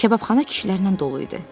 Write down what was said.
Kababxana kişilərlə dolu idi.